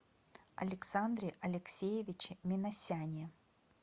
александре алексеевиче минасяне